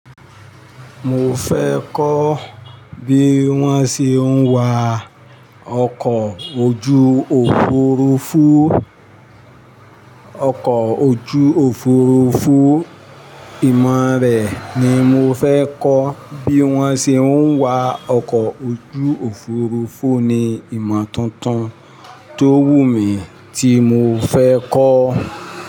Mo fẹ́ kọ́ bí wọ́n ṣe ń wa ọkọ̀ ojú òfurufú. Ọkọ̀ ojú òfurufú. Ìmọ̀ rẹ̀ ni mo fẹ́ kọ́. Bí wọ́n ṣe ń wa ọkọ̀ ojú òfurufú ni ìmọ̀ tuntun tó wù mí tí mo fẹ́ kọ́.